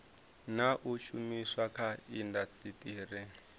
na u shumiswa kha indasiteri